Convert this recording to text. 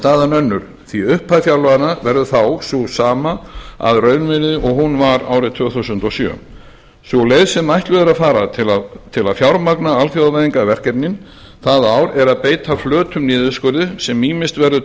staðan önnur því upphæð fjárlaganna verður þá sú sama að raunvirði og hún var tvö þúsund og sjö sú leið sem ætluð er að fara til að fjármagna alþjóðavæðingarverkefnin það ár er að beita flötum niðurskurði sem ýmist verður